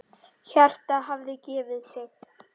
Hjartað hafði gefið sig.